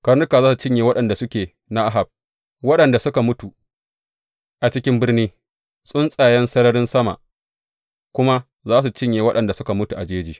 Karnuka za su cinye waɗanda suke na Ahab waɗanda suka mutu a cikin birni, tsuntsayen sararin sama kuma za su cinye waɗanda suka mutu a jeji.